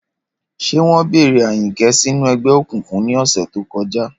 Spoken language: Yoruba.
Ṣé wọ́n bẹ̀rẹ̀ Ayinke sínú ẹgbẹ́ òkùnkùn ní ọ̀sẹ̀ tó kọjá?